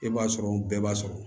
E b'a sɔrɔ bɛɛ b'a sɔrɔ